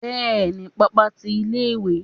bẹẹni, pápá tí ilé ìwé